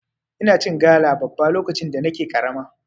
Ina cin gala babba lokacin da nake karama.